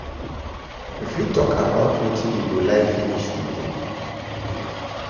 You fit talk about wetin you go like finish today?